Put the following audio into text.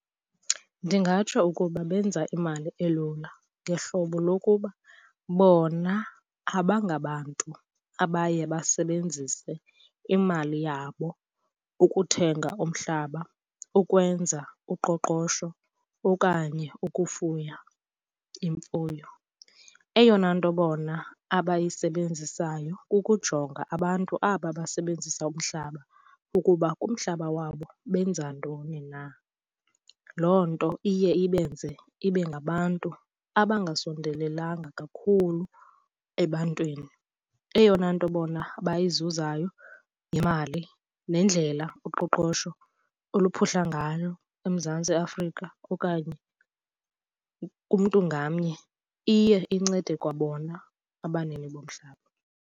Ndingatsho ukuba benza imali elula ngehlobo lokuba bona abangabantu abaye basebenzise imali yabo ukuthenga umhlaba, ukwenza uqoqosho okanye ukufuya imfuyo. Eyona nto bona abayisebenzisayo kukujonga abantu aba basebenzisa umhlaba ukuba kumhlaba wabo benza ntoni na. Loo nto iye ibenze ibe ngabantu abangasondelelanga kakhulu ebantwini. Eyona nto bona abayizuzayo yimali nendlela uqoqosho oluphuhla ngayo eMzantsi Afrika okanye kumntu ngamnye. Iye incede kwabona abanini bomhlaba.